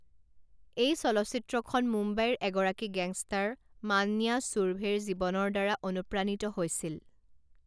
এই চলচ্চিত্ৰখন মুম্বাইৰ এগৰাকী গেংষ্টাৰ মান্যা ছুৰভেৰ জীৱনৰদ্বাৰা অনুপ্ৰাণিত হৈছিল।